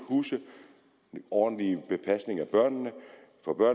huse ordentlig pasning af børnene